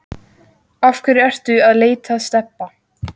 Af hverju ertu að leita að Stebba